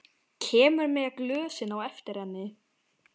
Kemur með glösin á eftir henni.